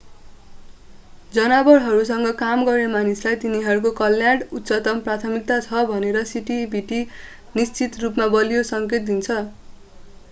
जनावरहरूसँग काम गर्ने मानिसलाई तिनीहरूको कल्याण उच्चतम प्राथमिकतामा छ भनेर सिसिटिभीले निश्चित रूपमा बलियो सङ्केत दिन्छ